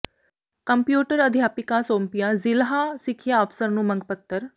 computer ਅਧਿਆਪਕਾਂ ਸੌਂਪਿਆ ਜ਼ਿਲ੍ਹਾ ਸਿੱਖਿਆ ਅਫਸਰ ਨੂੰ ਮੰਗ ਪੱਤਰ